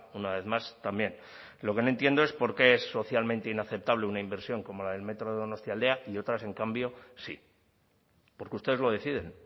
una vez más también lo que no entiendo es por qué es socialmente inaceptable una inversión como la del metro de donostialdea y otras en cambio sí porque ustedes lo deciden